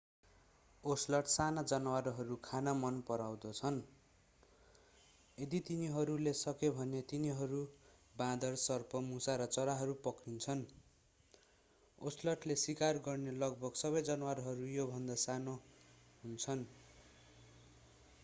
ocelot साना जनावरहरू खान मन पराउँदछ यदि तिनीहरूले सके भने तिनीहरू बाँदर सर्प मुसा र चराहरू पक्रिन्छन् ओसलटले शिकार गर्ने लगभग सबै जनावरहरू यो भन्दा सानो हुन्छन्